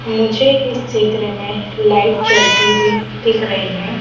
मुझे इस चित्र में लाइट चलती हुईं दिख रही है।